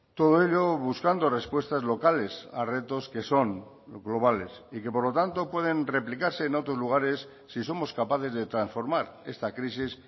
todo ello buscando respuestas locales a retos que son globales y que por lo tanto pueden replicarse en otros lugares si somos capaces de transformar esta crisis